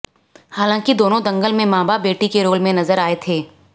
हालांकि दोनों दंगल में बाप बेटी के रोल में नज़र आए थे